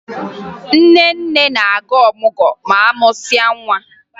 Nne nne na-aga ọmụgwọ ma a mụsịa nwa